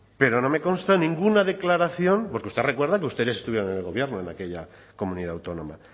pero no me consta ninguna declaración porque usted recuerda que ustedes estuvieron en el gobierno en aquella comunidad autónoma